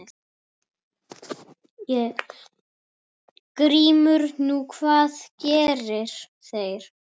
GRÍMUR: Nú, hvað gerðu þeir?